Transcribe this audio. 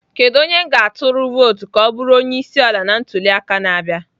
Kedu onye m ga-atụ vootu ka ọ bụrụ onye isi ala na ntuli aka na-abịa?